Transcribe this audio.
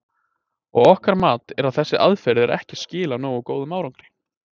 Og ykkar mat er að þessi aðferð er ekki að skila nógu góðum árangri?